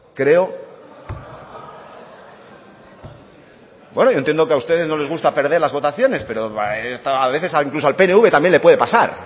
bueno yo entiendo que a ustedes no les gusta perder las votaciones pero a veces incluso al pnv también le puede pasar